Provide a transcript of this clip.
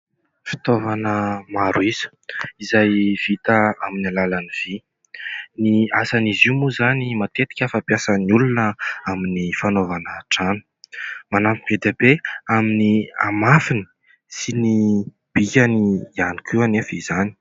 Fitaovana maro isa izay vita amin'ny alalan'ny vy. Ny asan'izy io moa izany matetika fampiasan'ny olona amin'ny fanaovana trano. Manampy be dia be amin'ny hamafiny sy ny bikany ihany koa anefa izany.